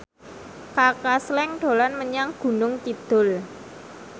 Kaka Slank dolan menyang Gunung Kidul